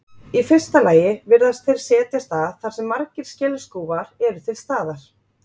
Í fyrsta lagi virðast þeir setjast að þar sem margir skelskúfar eru til staðar.